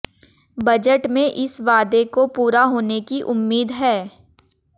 budget में इस वादे को पूरा होने की उम्मीद है